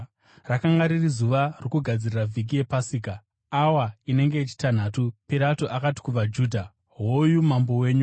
Rakanga riri zuva rokugadzirira vhiki yePasika, awa inenge yechitanhatu. Pirato akati kuvaJudha, “Hoyu mambo wenyu.”